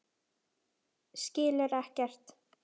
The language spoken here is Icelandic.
Skilur ekkert.